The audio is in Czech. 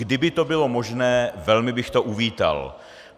Kdyby to bylo možné, velmi bych to uvítal.